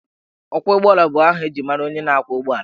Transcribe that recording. Ọkwọụgbọelu bụ aha eji mara onye na-ákwọ̀ ụgbọelu